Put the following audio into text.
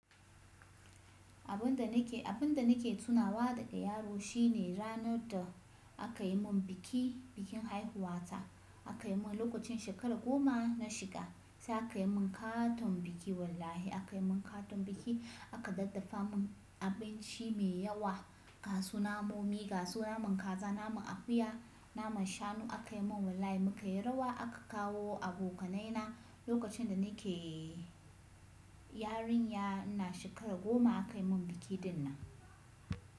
Abun da nake, abun da nake tunawa daga yaro shine ranar da aka yi mun biki, bikin haihuwata, Akayi mun lokacin shekara goma na shiga, sai aka yi mun katon biki wallahi, aka yi mun katon biki, aka daddafa mun abinci mai yawa, gasu namomi, gasu naman kaza, naman akuya, naman shanu aka yi mun wallahi, muka yi rawa aka kawo abokanai na lokacin da nake yarinya, ina shekara goma aka yi mun biki dinnan,